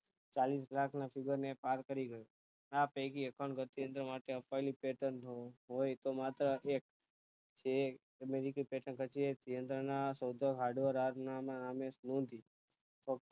ચાલીસ લાખ ના સુગમે પાર કરી ગયું આ પૈકી અખંડ ગતિ એ માટે આપાયેલું patent નું હોય તો માત્ર એક છે જે ને અમેરિકી patient જે અંદર ના software hardware નામે નોંધી